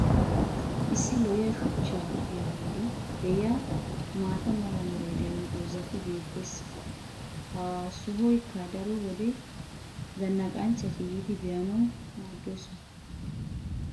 issi lo'iya shuchcha ogiya boli diya maata mala meray diyo dozzati beetees. ha sohoykka daro wode zanaqanchchati yiidi be'anawu maadoosona.